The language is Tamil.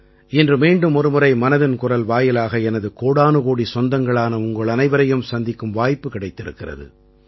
இன்று மீண்டுமொரு முறை மனதின் குரல் வாயிலாக எனது கோடானுகோடிச் சொந்தங்களான உங்கள் அனைவரையும் சந்திக்கும் வாய்ப்பு கிடைத்திருக்கிறது